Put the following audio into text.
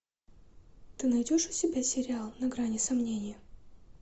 ты найдешь у себя сериал на грани сомнения